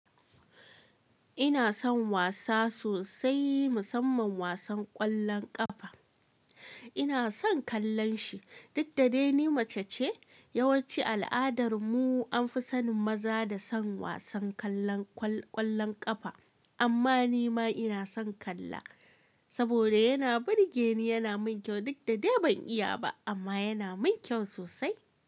Ina son wasa sosai musamman wasan ƙwallon ƙafa. Ina son kallan shi. Duk da dai ni mace ce, yawanci al'adar mu an fi sanin maza da son wasan kallo ƙwallon ƙafa amma ni ma ina son kalla. Saboda yana burgeni yana min kyau duk da dai ban iya ba amma yana min kyau sosai.